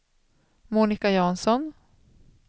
Monica Jansson